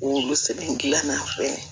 Olu sɛbɛn gilan na fɛnɛ